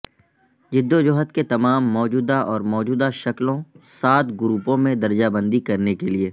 جدوجہد کے تمام موجودہ اور موجودہ شکلوں سات گروپوں میں درجہ بندی کرنے کے لئے